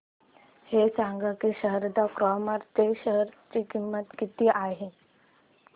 हे सांगा की शारदा क्रॉप च्या शेअर ची किंमत किती आहे